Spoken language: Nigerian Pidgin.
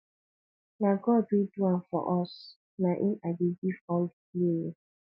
na god wey do am for us na in i dey give all the glory